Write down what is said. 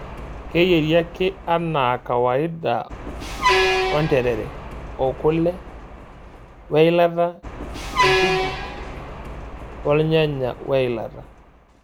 Keyieri ake anaakawaida onterere, okule, weilata e njugu, olnyanya weilata.